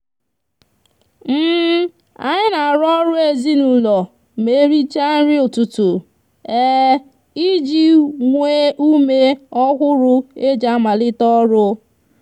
anyi n'aru oru ezinaulo ma ericha nri ututu iji nwe ume ohuru eji amalite oru